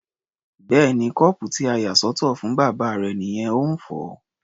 Bẹ́ẹ̀ni, kọ́ọ̀pù tí a yà sọ́tọ̀ fún bàbá rẹ nìyẹn, ó ń fọ̀ ọ́.